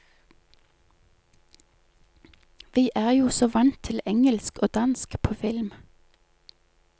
Vi er jo så vant til engelsk og dansk på film.